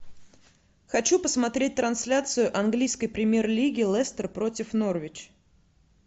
хочу посмотреть трансляцию английской премьер лиги лестер против норвич